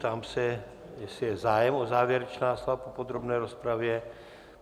Ptám se, jestli je zájem o závěrečná slova po podrobné rozpravě.